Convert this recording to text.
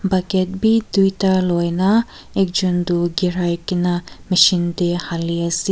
bucket bi duita luina ekjun tu ghiraigena machine teh hali ase.